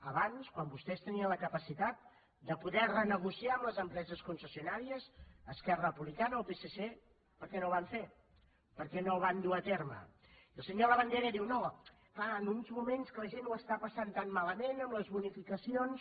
abans quan vostès tenien la capacitat de poder renegociar amb les empreses concessionàries esquerra republicana el psc per què no ho van fer per què no ho van dur a terme i el senyor labandera diu no clar en uns moments que la gent ho està passant tan malament amb les bonificacions